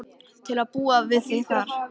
Til að búa við þig þar.